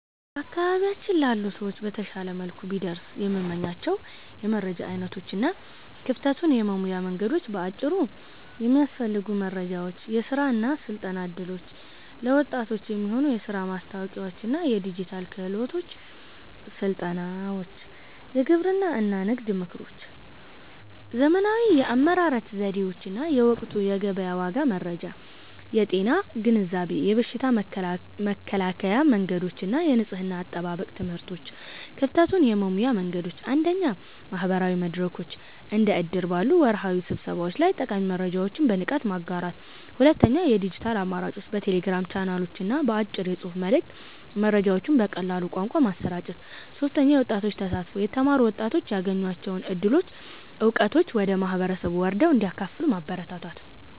በአካባቢያችን ላሉ ሰዎች በተሻለ መልኩ ቢደርሱ የምመኛቸው የመረጃ ዓይነቶች እና ክፍተቱን የመሙያ መንገዶች በአጭሩ፦ የሚያስፈልጉ መረጃዎች፦ የሥራ እና ሥልጠና ዕድሎች፦ ለወጣቶች የሚሆኑ የሥራ ማስታወቂያዎችና የዲጂታል ክህሎት ሥልጠናዎች። የግብርና እና ንግድ ምክሮች፦ ዘመናዊ የአመራረት ዘዴዎችና የወቅቱ የገበያ ዋጋ መረጃ። የጤና ግንዛቤ፦ የበሽታ መከላከያ መንገዶችና የንጽሕና አጠባበቅ ትምህርቶች። ክፍተቱን የመሙያ መንገዶች፦ 1. ማህበራዊ መድረኮች፦ እንደ እድር ባሉ ወርሃዊ ስብሰባዎች ላይ ጠቃሚ መረጃዎችን በንቃት ማጋራት። 2. የዲጂታል አማራጮች፦ በቴሌግራም ቻናሎችና በአጭር የጽሑፍ መልዕክት መረጃዎችን በቀላል ቋንቋ ማሰራጨት። 3. የወጣቶች ተሳትፎ፦ የተማሩ ወጣቶች ያገኟቸውን ዕድሎችና ዕውቀቶች ወደ ማህበረሰቡ ወርደው እንዲያካፍሉ ማበረታታት።